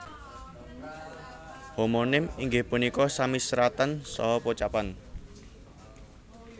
Homonim inggih punika sami seratan saha pocapan